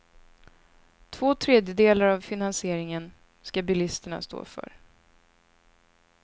Två tredjedelar av finansieringen ska bilisterna stå för.